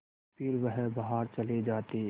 फिर वह बाहर चले जाते